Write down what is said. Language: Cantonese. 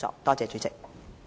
多謝主席。